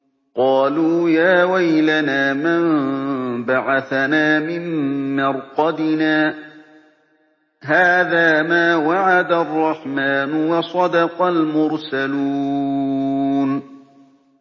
قَالُوا يَا وَيْلَنَا مَن بَعَثَنَا مِن مَّرْقَدِنَا ۜۗ هَٰذَا مَا وَعَدَ الرَّحْمَٰنُ وَصَدَقَ الْمُرْسَلُونَ